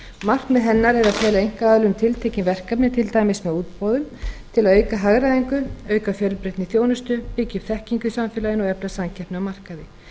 markmið hennar er að fela einkaaðilum tiltekin verkefni til dæmis með útboðum til að auka hagræðingu auka fjölbreytni í þjónustu byggja upp þekkingu í samfélaginu og efla samkeppni á markaði